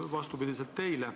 Seda vastupidi teile.